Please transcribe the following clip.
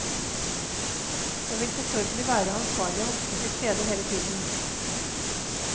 Det vil selvfølgelig være ansvarlige voksne tilstede hele tiden.